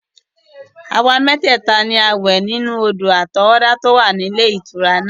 Àwa mẹ́tẹ̀ẹ̀ta ni a wẹ̀ ní odò àtọwọ́dá tí ó wà ní ilé ìtura náà.